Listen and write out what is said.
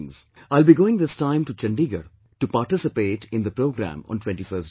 I will be going this time to Chandigarh to participate in the programme on 21st June